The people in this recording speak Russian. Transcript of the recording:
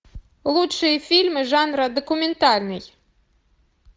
лучшие фильмы жанра документальный